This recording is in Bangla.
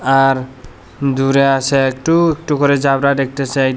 আর দূরে আসে একটু একটু করে একটা সাইড --